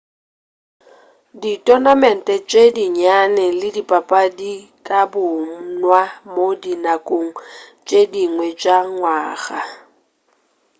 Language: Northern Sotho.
ditonamente tše dinnyane le dipapadi di ka bonwa mo dinakong tše dingwe tša ngwaga